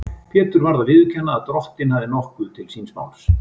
Pétur varð að viðurkenna að Drottinn hafði nokkuð til síns máls.